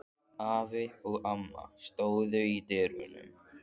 Afi og amma stóðu í dyrunum.